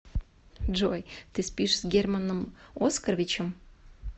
джой ты спишь с германом оскаровичем